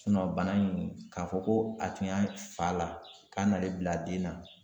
bana in k'a fɔ ko a tun y'a fa la k'a nalen bila den na